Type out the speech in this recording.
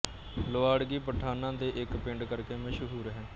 ਲੁਆੜਗੀ ਪਠਾਣਾ ਦੇ ਇੱਕ ਪਿੰਡ ਕਰਕੇ ਮਸ਼ਹੂਰ ਹੈ